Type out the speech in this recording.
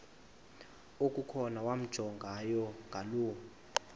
okukhona wamjongay ngaloo